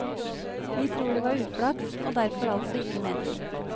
Vi tror det var uflaks, og derfor altså ikke meningen.